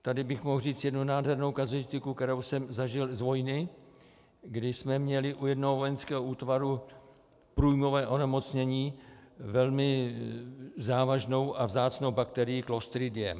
Tady bych mohl říct jednu nádhernou kazuistiku, kterou jsem zažil z vojny, kdy jsme měli u jednoho vojenského útvaru průjmové onemocnění velmi závažnou a vzácnou bakterií Clostridium.